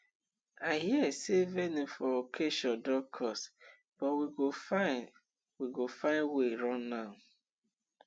i hear sey venue for occasion don cost but we go find we go find wey run am